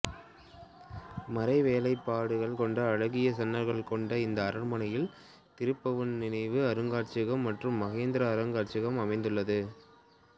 மரவேலைப்பாடுகள் கொண்ட அழகிய சன்னல்கள் கொண்ட இந்த அரண்மனையில் திருபுவன் நினைவு அருங்காட்சியகம் மற்றும் மகேந்திர அருங்காட்சியகம் அமைந்துள்ளது